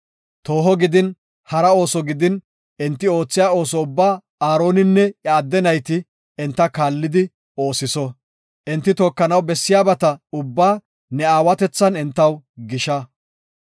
Tooho gidin, hara ooso gidin, enti oothiya ooso ubbaa Aaroninne iya adde nayti enta kaalli oosiso. Enti tookanaw bessiyabata ubbaa ne aawatethan entaw gisha.